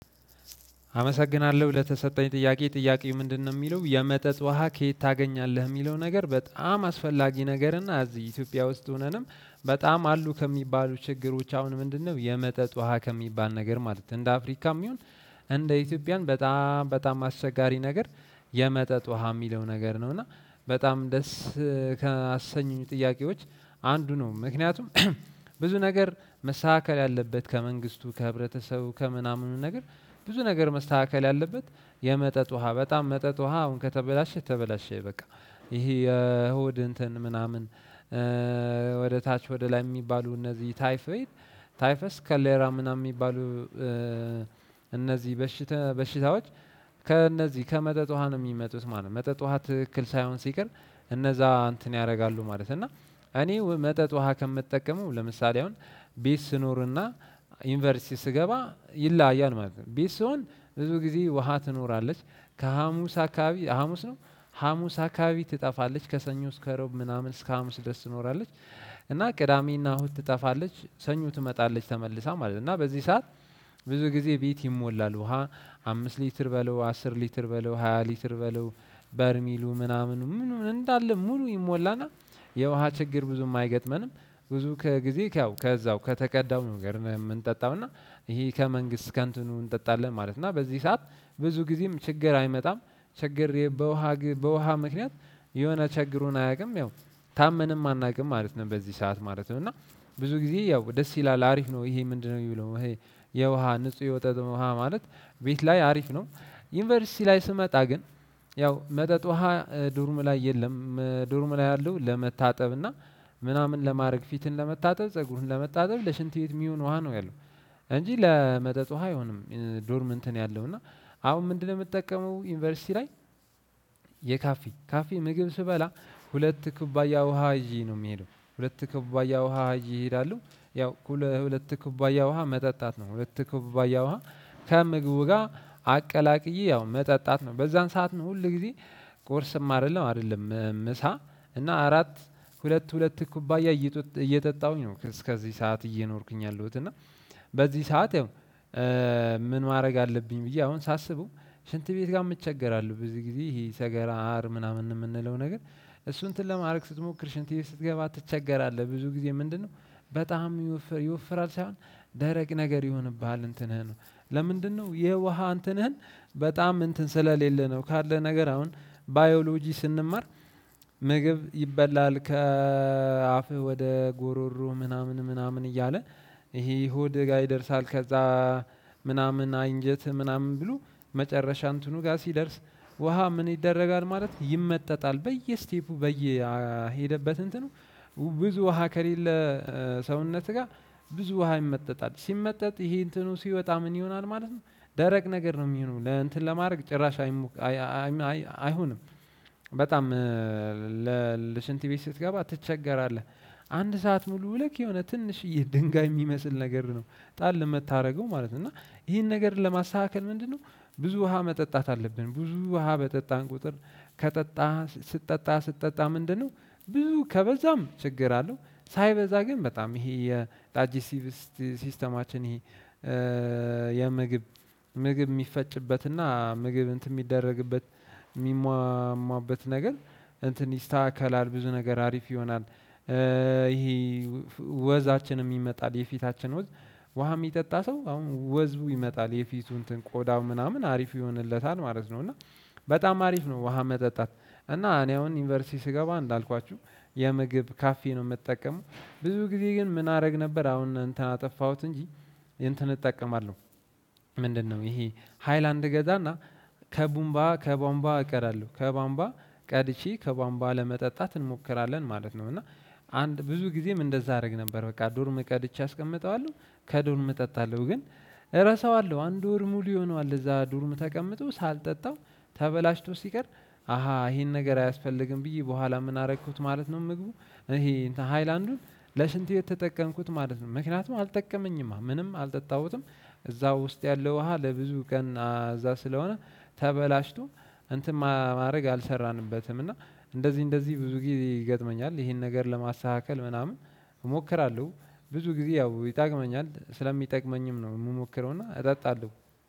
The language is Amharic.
አመሰግናለሁ ለተሰጠኝ ጥያቄ ጥያቄው ምንድነው የሚለው የመጠጥ ውሃ ከየት ታገኛለህ የሚለው? ነገር በጣም አስፈላጊ ነገርና እዚህ ኢትዮጵያ ውስጥ ሆነንም በጣም አሉ ከሚባሉ ችግሮች። አሁን ምንድነው የመጠጥ ውሃ ከሚባል ነገር ማለት ነው? እንደ አፍሪካም ይሁን እንደ ኢትዮጵያን በጣም አስቸጋሪ ነገር የመጠጥ ውሃ የሚለው ነገር ነው። እና በጣም ደስ ከአሰኙኝ ጥያቄዎች አንዱ ነው። ምክንያቱም ብዙ ነገር መስተካከል ያለበት ከመንግስቱ ከህብረተሰቡ ከምናምኑ ነገር ብዙ ነገር መስተካከል ያለበት። የመጠጥ ውሃ በጣም መጠጥ ውሃ አሁን ከተበላሸ ተበላሸ በቃ። ይሄ የእሁድ እንትን ምናምን ወደ ታች ወደ ላይ የሚባሉ እነዚህ ታይፎይድ ታይፈስ ታይፈስ ኮሌራ ምናምን የሚባሉ። እነዚህ በሽታ በሽታዎች ከእነዚህ ከመጠጥ ውሃ ነው የሚመጡት ማለት ነው። መጠጥ ውሃ ትክክል ሳይሆን ሲቀር እነዛ እንትን ያደርጋሉ ማለት ነው። እና እኔ መጠጥ ውሃ ከምጠቀመው ለምሳሌ አሁን ቤት ስኖርና ዩኒቨርሲቲ ስገባ ይላያል ማለት ነው። ቤት ስሆን ብዙ ጊዜ ውሃ ትኖራለች ከሀሙስ አካባቢ ሀሙስ ነው ሀሙስ አካባቢ ትጠፋለች ከሰኞ እስከ ሮብ ምናምን እስከ ሀሙስ ደስ ትኖራለች። እና ቅዳሜና እሁድ ትጠፋለች ሰኞ ትመጣለች ተመልሳ ማለት ነው። እና በዚህ ሰዓት ብዙ ጊዜ ቤት ይሞላል ውሃ አምስት ሊትር በለው አስር ሊትር በለው ሃያ ሊትር በለው በርሚሉ ምናምን ምኑ ምኑ እንዳለ ሙሉ ይሞላና የውሃ ችግር ብዙም አይገጥመንም። ብዙ ከጊዜ ያው ከዛው ከተቀዳው ነገር ነው የምንጠጣው። እና ይሄ ከመንግስት ከንቱን እንጠጣለን ማለት ነው። እና በዚህ ሰዓት ብዙ ጊዜም ችግር አይመጣም። ችግር በውሃ በውሃ ምክንያት የሆነ ቸግሮን አያውቅም ያው ታመንም አናውቅም ማለት ነው። በዚህ ሰዓት ማለት ነው እና ብዙ ጊዜ ያው ደስ ይላል አሪፍ ነው። ይሄ ምንድነው? የሚለው ይሄ የውሃ ንጹህ የመጠጥ ውሃ ማለት ቤት ላይ አሪፍ ነው። ዩኒቨርሲቲ ላይ ስመጣ ግን ያው መጠጥ ውሃ ዶርም ላይ የለም ዶርም ላይ ያለው ለመታጠብ እና ምናምን ለማድረግ ፊትን ለመታጠብ ፀጉርን ለመታጠብ ለሽንት ቤት የሚሆን ውሃ ነው ያለው። እንጂ ለመጠጥ ውሃ አይሆንም። ዶርም እንትን ያለው እና አሁን ምንድነው? የምጠቀመው ዩኒቨርሲቲ ላይ የካፌ ካፌ ምግብ ስበላ ሁለት ኩባያ ውሃ የዠ ነው የምሄደው ሁለት ከባያ ውሃ ይዠ እሄዳለሁ። ያው ሁለት ከባያ ውሃ መጠጣት ነው ሁለት ከባያ ውሃ ከምግቡ ጋር አቀላቅዬ ያው መጠጣት ነው። በዛን ሰዓት ነው ሁል ጊዜ ቁርስም አይደለም አይደለም ምሳ እና አራት ሁለት ሁለት ኩባያ እየጠጣሁኝ ነው እስከዚህ ሰዓት እየኖርኩኝ ያለሁት እና። በዚህ ሰዓት ያው ምን ማድረግ አለብኝ ብዬ አሁን ሳስበው። ሽንት ቤት ጋም እቸገራለሁ። ብዙ ጊዜ ይሄ ሰገራ አር ምናምን የምንለው ነገር እሱን እንትን ለማድረግ ስትሞክር ሽንት ቤት ስትገባ ትቸገራለህ ብዙ ጊዜ ምንድነው? በጣም ይወፍራል ሳይሆን ደረቅ ነገር ይሆንብሃል እንትንህም ለምንድነው የውሃ አንትንህን በጣም እንትን ስለሌለ ነው። ካለ ነገር አሁን ባዮሎጂ ስንማር ምግብ ይበላል ከአፍህ ወደ ጉሮሮ ምናምን ምናምን እያለ ይሄ ሆድህ ጋር ይደርሳል። ከዛ ምናምን አይንጀት ምናምን ብሎ መጨረሻ እንትኑ ጋር ሲደርስ ውሃ ምን ይደረጋል ማለት ነው። ይመጠጣል በየስቴፑ በየሄደበት እንትኑ ብዙ ውሃ ከሌለ። ሰውነት ጋር ብዙ ውሃ ይመጠጣል ሲመጠጥ ይሄ እንትኑ ሲወጣ ምን ይሆናል ማለት ነው። ደረቅ ነገር ነው የሚሆነው ለእንትን ለማድረግ ጭራሽ አይሞከርም አይሆንም። በጣም ለሽንት ቤት ስትገባ ትቸገራለህ። አንድ ሰዓት ሙሉ ልክ የሆነ ትንሽዬ ድንጋይ የሚመስል ነገር ነው ጣል የምታደርገው ማለት ነው። እና ይሄን ነገር ለማስተካከል ምንድነው? ብዙ ውሃ መጠጣት አለብን ብዙ ውሃ በጠጣን ቁጥር። ከጠጣህ ስትጠጣ ስትጠጣ ምንድነው? ብዙ ከበዛም ችግር አለው። ሳይበዛ ግን በጣም ይሄ የዳጀሲቲቭ ሲስተማችን ይሄ የምግብ ምግብ የሚፈጭበትና ምግብ እንትን የሚደረግበት የሚሟሟበት ነገር እንትን ይስተካከላል ብዙ ነገር አሪፍ ይሆናል። ይሄ ወዛችን ይመጣል የፊታችን ወዝ ውሃ የሚጠጣ ሰው አሁን ወዙ ይመጣል የፊቱ እንትን ቆዳው ምናምን አሪፍ ይሆንለታል ማለት ነው። እና በጣም አሪፍ ነው። ውሃ መጠጣት። እና እኔ አሁን ዩኒቨርሲቲ ስገባ እንዳልኳችሁ የምግብ ካፌ ነው የምጠቀመው። ብዙ ጊዜ ግን ምን አደረግ ነበር አሁን እንትን አጠፋሁት እንጂ። እንትን እጠቀማለሁ። ምንድነው? ይሄ ሃይላንድ እገዛና ከቦንባ እቀዳለሁ ከቦንባ ቀድቸ ከቦንባ ለመጠጣት እንሞክራለን ማለት ነው። እና አንድ ብዙ ጊዜም እንደዛ አደረግ ነበር በቃ ዶርም ቀድቼ አስቀምጠዋለሁ። ከዶርም እጠጣለሁ ግን እረሳዋለሁ አንድ ወር ሙሉ ይሆናል እዛ ዳርም ተቀምጦ ሳልጠጣው። ተበላሽቶ ሲቀር አሃ ይሄን ነገር አያስፈልግም። ብዬ በኋላ ምን አደረኩት ማለት ነው። ምግቡ ይሄ እንትን ሃይላንዱን ለሽንት ቤት ተጠቀምኩት ማለት ነው። ምክንያቱም አልጠቀመኝማ ምንም አልጠጣሁትም። እዛው ውስጥ ያለው ውሃ ለብዙ ቀን እዛ ስለሆነ ተበላሽቶ እንትን ማድረግ አልሰራንበትም። እና እንደዚህ እንደዚህ ብዙ ጊዜ ይገጥመኛል ይሄን ነገር ለማስተካከል ምናምን እሞክራለሁ። ብዙ ጊዜ ያው ይጠቅመኛል ስለሚጠቅመኝም ነው የምሞክረውና እጠጣለሁ።